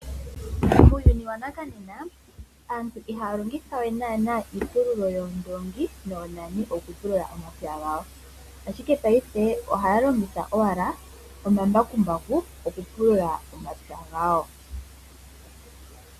Muuyuni wanakanena aantu iihaalongitha we nana iipululo yoondoongi noonane oku pulula omapya gawo. Ashike paife oha ya longitha owala omambakumbaku oku pulula omapya gawo.